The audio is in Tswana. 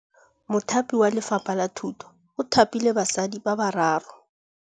Mothapi wa Lefapha la Thutô o thapile basadi ba ba raro.